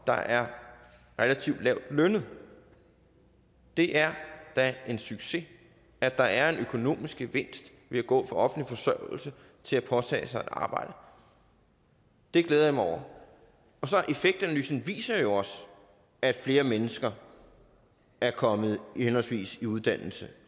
der er relativt lavtlønnet det er da en succes at der er en økonomisk gevinst ved at gå fra offentlig forsørgelse til at påtage sig at arbejde det glæder jeg mig over effektanalysen viser jo også at flere mennesker er kommet i henholdsvis uddannelse